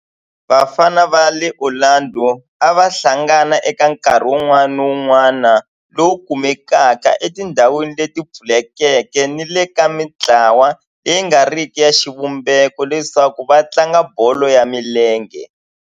Vafana va le Orlando a va hlangana eka nkarhi wun'wana ni wun'wana lowu kumekaka etindhawini leti pfulekeke ni le ka mintlawa leyi nga riki ya xivumbeko leswaku va tlanga bolo ya milenge.